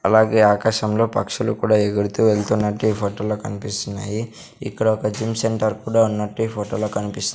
అలాగే ఆకాశంలో పక్షులు కూడా ఎగురుతూ వెళ్తున్నట్టు ఈ ఫొటో లో కన్పిస్తున్నాయి ఇక్కడ ఒక జిమ్ సెంటర్ కూడా ఉన్నట్టు ఈ ఫొటో లో కనిపిస్ --